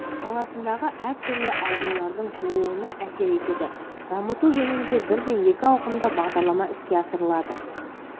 саласындағы әртүрлі аурулардың тууына әсер етеді дамыту жөнінде бірден екі ауқымды бағдарлама іске асырылады